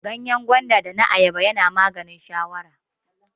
Ganyen gwanda da na Ayaba na maganin shawara.